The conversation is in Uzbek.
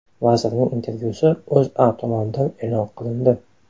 Vazirning intervyusi O‘zA tomonidan e’lon qilindi .